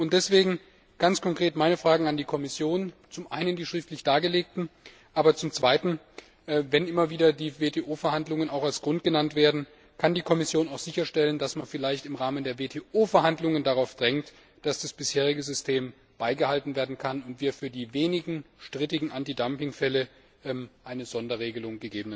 Deswegen ganz konkret meine Fragen an die Kommission Zum Einen die schriftlich dargelegten, aber zum Zweiten, wenn immer wieder die WTO Verhandlungen auch als Grund genannt werden Kann die Kommission auch sicherstellen, dass man vielleicht im Rahmen der WTO Verhandlungen darauf drängt, dass das bisherige System beibehalten werden kann, und wir für die wenigen strittigen Antidumpingfälle gegebenenfalls eine Sonderregelung